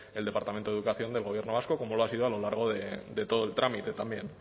el departamento de educación del gobierno vasco como lo ha sido a lo largo de todo el trámite también